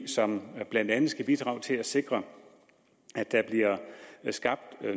som blandt andet skal bidrage til at sikre at der bliver skabt